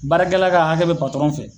Baarakɛla ka hakɛ be fɛ